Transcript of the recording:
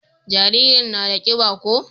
jaririn na da kiba ko?